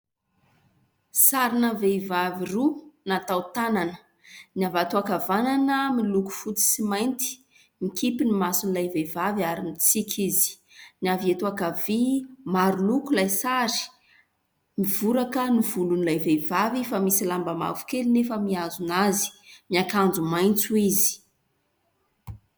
Sarina vehivavy roa natao tanana. Ny avy ato ankavanana miloko fotsy sy mainty. Mikipy ny mason'ilay vehivavy ary mitsiky izy. Ny avy eto ankavia : maro loko ilay sary, mivoraka ny volon'ilay vehivavy fa misy lamba mavokely nefa mihazona azy. Miakanjo maitso izy.